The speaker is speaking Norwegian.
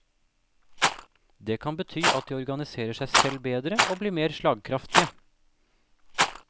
Det kan bety at de organiserer seg selv bedre og blir mer slagkraftige.